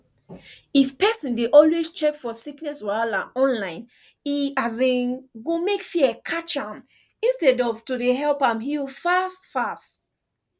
if pesin dey always check for sickness wahala online e um go mek fear catch am instead of to dey help am heal fast fast